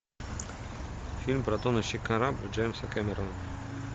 фильм про тонущий корабль джеймса кэмерона